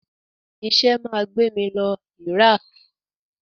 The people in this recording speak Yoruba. Iṣẹ́ máa gbé mí lọ Iraq.